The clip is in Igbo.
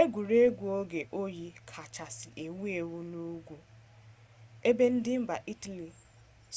egwuregwu oge oyi kachasị ewu ewu n'ugwu ebe ndị mba italy